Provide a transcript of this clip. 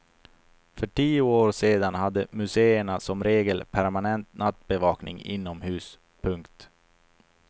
För tio år sedan hade museerna som regel permanent nattbevakning inomhus. punkt